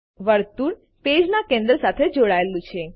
વર્તુળ પેજના કેન્દ્ર સાથે જોડાયેલું છે